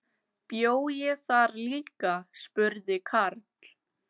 Bjó ég þar líka? spurði Karl.